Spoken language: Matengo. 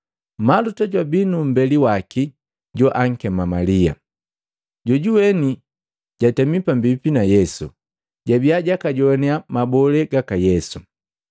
Maluta jwabi numbeli waki joakema Malia, jojuweni jatemi pambipi na Yesu, na jabia jakajowannya mabole gaka Yesu.